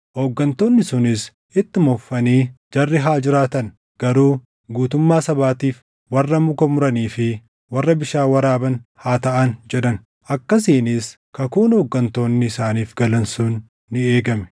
Hooggantoonni sunis ittuma fufanii, “Jarri haa jiraatan; garuu guutummaa sabaatiif warra muka muranii fi warra bishaan waraaban haa taʼan” jedhan. Akkasiinis kakuun hooggantoonni isaaniif galan sun ni eegame.